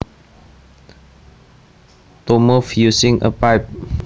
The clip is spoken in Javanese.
To move using a pipe